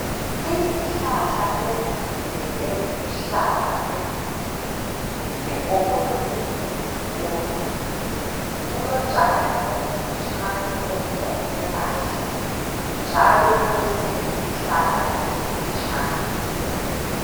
Izihlahla ezinde eziluhlaza ezinengi zigombolozele isikolo kulotshani obufitshane obuqunywe kahle njalo kulezinye izihlahla ezimfitshane.